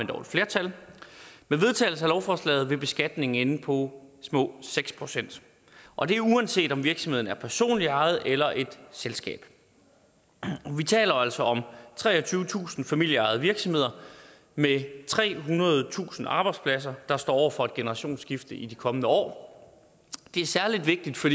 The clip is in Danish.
dog et flertal vil beskatningen ende på små seks procent og det er uanset om virksomheden er personligt ejet eller et selskab vi taler altså om treogtyvetusind familieejede virksomheder med trehundredetusind arbejdspladser der står over for et generationsskifte i de kommende år det er særlig vigtigt for